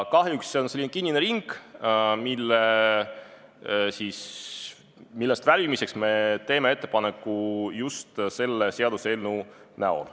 Kahjuks on see selline kinnine ring, millest väljumiseks teeme ettepaneku just selle seaduseelnõu abil.